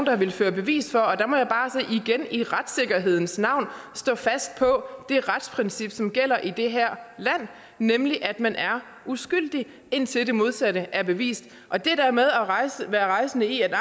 har villet føre bevis for og der må jeg bare igen i retssikkerhedens navn stå fast på det retsprincip som gælder i det her land nemlig at man er uskyldig indtil det modsatte er bevist og det der med at være rejsende i at